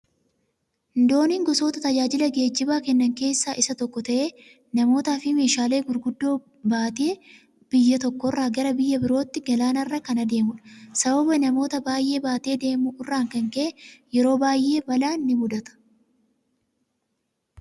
Dooniin gosoota tajaajila geejibaa kennan keessaa isa tokko ta'ee namoota fi meeshaalee gurguddaa baatee biyya tokko irraa gara biyya birootti galaannarra kan addeemudha. sababa namoota baayyee baatee deemu irraan kan ka'e yeroo baayyee balaan ni mudata.